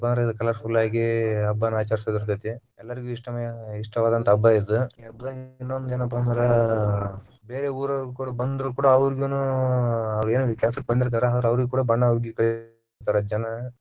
ಯಾಕಂದ್ರ ಬಾಳ colourful ಆಗಿ ಹಬ್ಬಾನ ಆಚರಿಸುದ ಇರತೇತಿ ಎಲ್ಲರಿಗು ಇಷ್ಟವಾದಂತ ಹಬ್ಬಾ ಇದು ಈ ಹಬ್ಬದಾಗ ಇನ್ನೊಂದ ಏನಪಾ ಅಂದ್ರ ಬೇರೆ ಊರವರು ಕೂಡ ಬಂದ್ರು ಕೂಡ ಅವ್ರಿಗಿನು ಅಹ್ ಅವ್ರಯೇನ ಕೆಲಸಕ್ಕ್ ಬಂದಿರ್ತಾರ ಅವ್ರಿಗಿ ಕೂಡ ಬಣ್ಣ ಉಗ್ಗಿ ಕಳಸ್ತಾರ ಜನಾ.